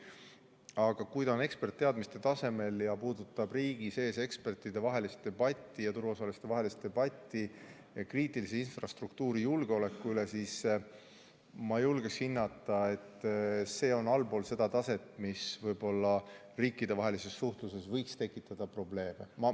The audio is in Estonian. Aga kui ta on eksperditeadmiste tasemel ja puudutab riigi sees ekspertide ja turuosaliste vahelist debatti kriitilise infrastruktuuri julgeoleku üle, siis ma julgen hinnata, et see on allpool seda taset, mis riikidevahelises suhtluses võiks tekitada probleeme.